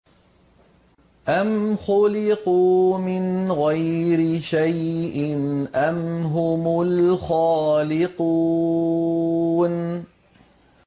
أَمْ خُلِقُوا مِنْ غَيْرِ شَيْءٍ أَمْ هُمُ الْخَالِقُونَ